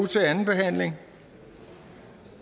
til anden behandling